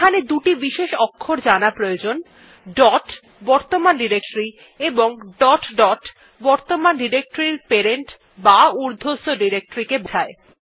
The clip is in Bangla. এখানে দুটি বিশেষ অক্ষর জানা প্রয়োজন dot বর্তমান ডিরেক্টরী এবং ডট ডট বর্তমান ডিরেক্টরীর প্যারেন্ট বা উর্ধ্বস্থ ডিরেক্টরীকে বোঝায়